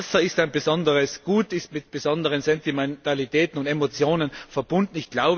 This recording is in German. Wasser ist ein besonderes Gut, ist mit besonderen Sentimentalitäten und Emotionen verbunden.